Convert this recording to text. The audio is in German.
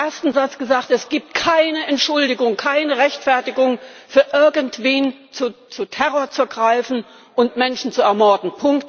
Ich habe als ersten Satz gesagt Es gibt keine Entschuldigung, keine Rechtfertigung für irgendwen, zu Terror zu greifen und Menschen zu ermorden!